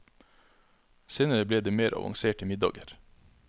Senere ble det mer avanserte middager.